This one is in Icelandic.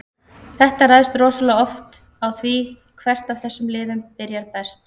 Þetta ræðst rosalega oft í maí á því hvert af þessum liðum byrjar best.